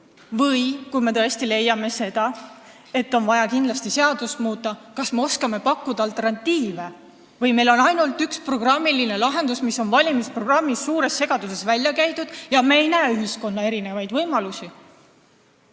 Või kui me tõesti leiame, et on vaja kindlasti seadust muuta, kas me siis oskame pakkuda alternatiive või meil on ainult üks programmiline lahendus, mis on valimisprogrammis suures segaduses välja käidud, ja me ei näe ühiskonnas olemasolevaid võimalusi?